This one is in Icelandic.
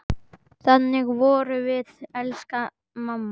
Þannig vorum við, elsku mamma.